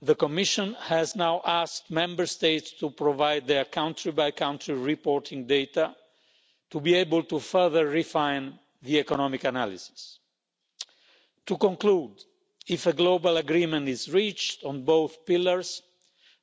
2. The Commission has now asked Member States to provide their country by country reporting data to be able to further refine the economic analysis. To conclude, if a global agreement is reached on both pillars,